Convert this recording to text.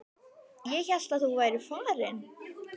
Ég hélt að þú værir farinn.